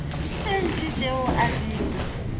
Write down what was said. tše ntši tšeo a di